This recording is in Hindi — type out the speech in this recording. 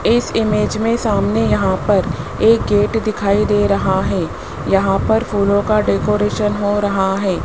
इस इमेज में सामने यहां पर एक गेट दिखाई दे रहा है यहां पर फूलों का डेकोरेशन हो रहा है।